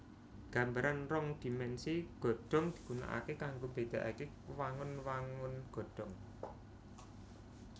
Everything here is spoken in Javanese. Gambaran rong dhimènsi godhong digunaaké kanggo mbédaaké wangun wangun godhong